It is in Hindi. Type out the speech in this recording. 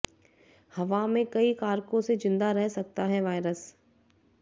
हवा में कई कारकों से जिंदा रह सकता है वायरस